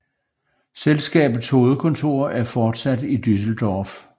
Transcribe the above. Selskabets hovedkontor er fortsat i Düsseldorf